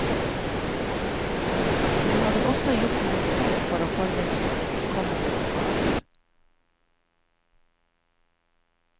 Hun hadde også gjort noe selv for å forberede seg til kommende oppgaver.